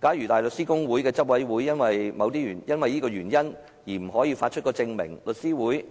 假如香港大律師公會的執委會因為這個原因而不發出證明，香港律師會